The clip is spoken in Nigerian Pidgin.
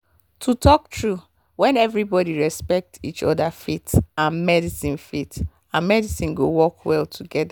to talk true when everybody respect each other faith and medicine faith and medicine go work well together.